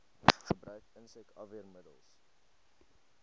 gebruik insek afweermiddels